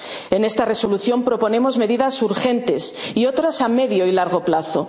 europeas. En esta Resolución proponemos medidas urgentes y otras a medio y largo